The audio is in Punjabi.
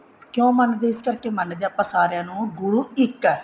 ਕਿਉਂ ਮੰਨਦੇ ਸੀ ਇਸ ਕਰਕੇ ਮੰਨਦੇ ਆ ਸਾਰਿਆਂ ਨੂੰ ਗੁਰੂ ਇੱਕ ਹੈ